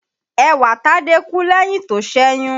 Ẹwàtádé kú lẹ́yìn tó ṣẹ̀yún